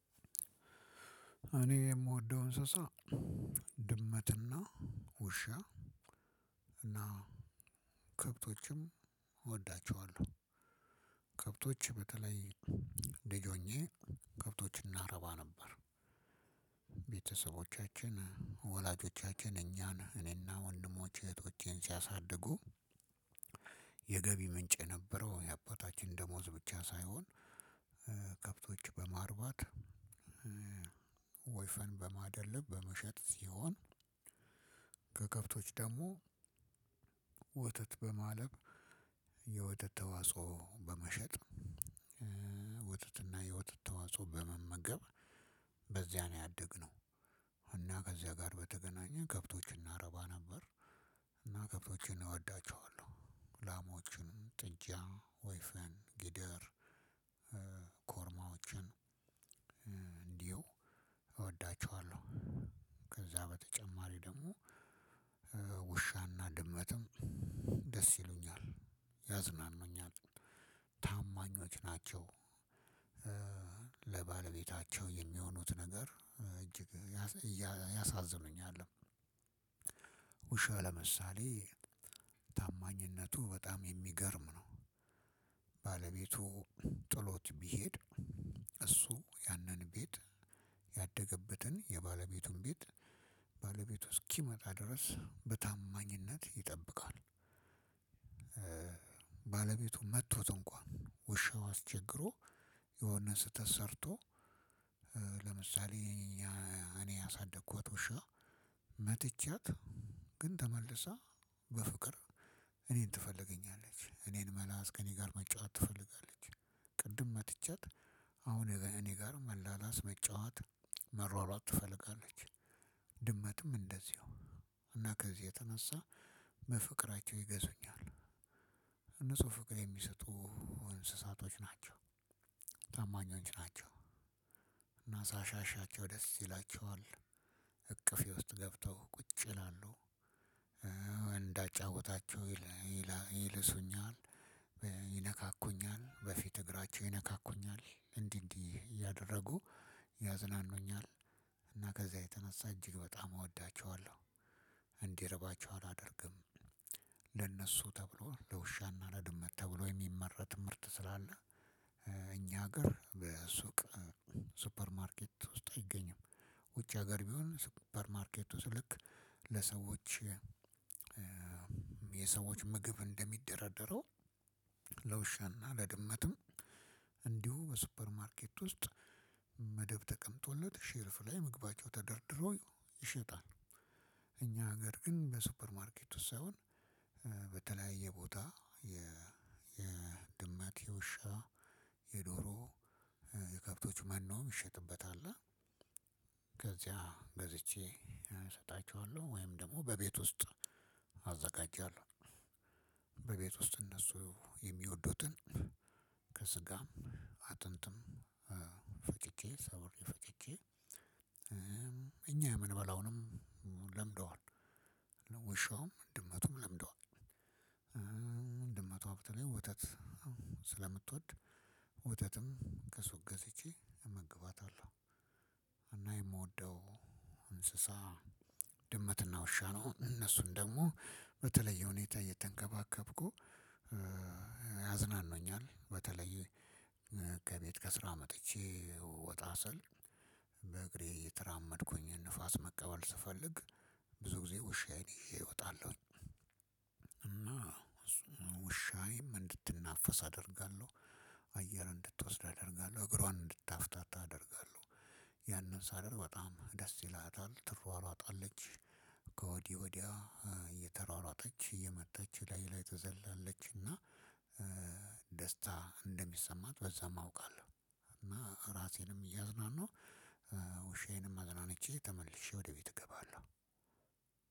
እኔ የምወደው እንስሳ ድመትና ውሻ እና ከብቶችም እወዳቸዋለሁ። ከብቶች በተለይ ልጅ ሆኜ ከብቶችን እናረባ ነበር። ቤተሰቦቻችን ወላጆቻችን እኛን እኔና ወንድሞቼ እህቶቼን ሲያሳድጉ የገቢ ምንጭ የነበረው የአባታችን ደሞዝ ብቻ ሳይሆን ከብቶች በማርባት ወይፈን በማደል በመሸጥ ሲሆን ከከብቶች ደግሞ ወተት በማለብ የወተት ተዋጽኦ በመሸጥ ወተትና የወጥት ተዋጽኦ በመመገብ በዚያ ነው ያደግነው። እና ከዚያ ጋር በተገናኘ ከብቶችን እናረባ ነበር። እና ከብቶችን እወዳቸዋለሁ ላሞችን ጥጃ ወይፈን ግደር ኮርማዎችን እንዲሁ እወዳቸዋለሁ። ከዛ በተጨማሪ ደግሞ ውሻና ድመትም ደስ ይሉኛል ያዝናኑኛል ታማኛች ናቸው። ለባለቤታቸው የሚሆኑት ነገር እጅግ ያሳዝኑኛል። ውሻ ለምሳሌ ታማኝነቱ በጣም የሚገርም ነው። ባለቤቱ ጥሎት ቢሄድ እሱ ያንን ቤት ያደነበትን የባለቤቱን ቤት ባለቤቱ እስኪመጣ ድረስ በታማኝነት ይጠብቃል። ባለቤቱ መቶት እንኳን ውሻው አስቸግሮ የሆነ ስህተት ሰርቶ ለምሳሌ እኔ ያሳደኳትውሻ መትቻ ግን ተመልሳ በፍቅር እኔን ትፈልጉኛለች እኔን መላስ ከኔጋ መጫወት ትፈልጋለች። ቅድም መትቻ አሁን እኔ ጋር መላላስ መጫወት መሯሯጥ ትፈልጋለች። ድመትም እንደዚሁ እና ከዚህ የተነሳ በፍቅራቸው ይገዙኛል። እነሱ ፍቅር የሚሰጡ እንስሳቶች ናቸው ታማኞች ናቸው። እና ሳሻሻቸው ደስ ይላቸዋል እቅፌ ውስጥ ገብተው ቁጭ ይላሉ። እንዳጫውታችሁ ይልሱኛል ይነካኩኛል በፊት እግራቸው ይነካኩኛል እንዲህ እንዲህ እያደረጉ ያዝናኑኛል እና ከዚያ የተነሳ እጅግ በጣም እወዳቸዋለሁ። እንዲርባቸው አላደርግም ለእነሱ ተብሎ ለውሻና ለድመት ተብሎ የሚመረት ምርት ስላለ። እኛ ሀገር በሱቅ ሱፐር ማርኬት ውስጥ አይገኝም። ውጭ ሀገር ቢሆን ሱፐር ማርኬቱ ልክ ለሰዎች የሰዎች ምግብ እንደሚደራደረው ለውሻና ለድመትም እንዲሁ በሱፐር ማርኬት ውስጥ መደብ ተቀምጦለት ሼልፍ ላይ ምግባቸው ተደርድሮ ይሸጣል። እኛ ሀገር ግን በሱፐርማርኬት ውስጥ ሳይሆን በተለያየ ቦታ የ የድማት የውሻ የዶሮ የከብቶች መኖም ይሸጥበታል። ከዚያ ገዝቼ እሰጣችኋለሁ ወይም ደግሞ በቤት ውስጥ አዘጋጃለሁ። በቤት ውስጥ እነሱ የሚወዱትን ከስጋም አጥንትም ፈጥቄ ሰብሬ ፈጥቄ እኛ ምንበላውንም ለምደዋል ወሻውም ድመቱም ለምደዋል። ድመቷ በተለይ ወተት ስለምትወድ ወተትም ከሱቅ ገዝቼ እመግባታለሁ። እና የምወደው እንስሳ ድመትና ውሻ ነው። እነሱን ደግሞ በተለየ ሁኔታ እየተንከባከብኩ ያዝናኑኛል። በተለይ ከቤት ከስራ መጥቼ ወጣ ስል በእግሬ እየተራመድኩኝ ንፋስ መቀበል ስፈልግ ብዙ ጊዜ ውሻዬን ይዤ እወጣለሁኝ። እና ውሻዬም እድትናፈስ አደርጋለሁ አየር እንድትወስድ አደርጋለሁ እግሯን እንድታፍታታ አደርጋለሁ። ያንን ሳደርግ በጣም ደስ ይላታል ትይሯሯጣለች ወዲህ ወድያ እየተሯሯጠች እየመጣች እላዬ ላይ ትዘላለች። እና ደስታ እንደሚሰማት በዛም አውቃለሁ። እና ራሴንም እያዝናናሁ ውሻዬንም አዝናንቼ ተመልሼ ወደ ቤት እገባለሁ።